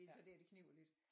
Det er så der det kniber lidt